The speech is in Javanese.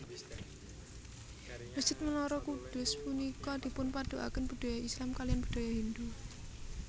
Mesjid Menara Kudus punika dipunpaduaken budaya Islam kaliyan budaya Hindu